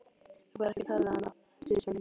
Þú færð ekkert að tala við hana, segir Svenni.